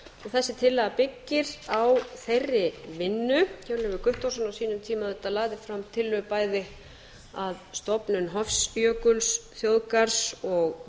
þessi tillaga byggir á þeirri vinnu hjörleifur guttormsson lagði auðvitað fram tillögu á sínum tíma um stofnun bæði hofsjökulsþjóðgarðs og